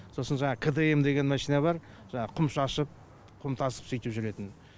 сосын жаңағы кдм деген машина бар жаңағы құм шашып құм тасып сүйтіп жүретін